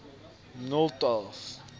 nolloth